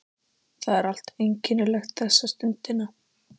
Sigurður Einarsson: Hvað segirðu?